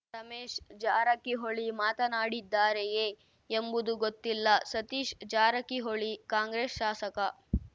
ರಮೇಶ್‌ ಜಾರಕಿಹೊಳಿ ಮಾತಾಡಿದ್ದಾರೆಯೇ ಎಂಬುದು ಗೊತ್ತಿಲ್ಲ ಸತೀಶ್‌ ಜಾರಕಿಹೊಳಿ ಕಾಂಗ್ರೆಸ್‌ ಶಾಸಕ